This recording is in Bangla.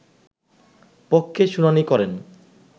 পক্ষে শুনানি করেন